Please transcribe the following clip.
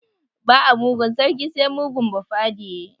Ba a mugun sarki sai mugun bafade.